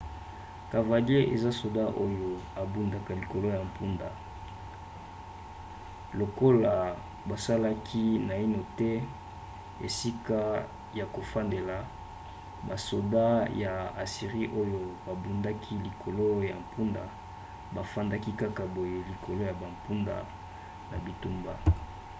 cavalier eza soda oyo abundaka likolo ya mpunda. lokola basalaki naino te esika ya kofandela basoda ya assirie oyo babundaki likolo ya mpunda bafandaki kaka boye likolo ya bampunda na bitumba